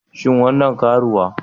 Shin wannan karuwa?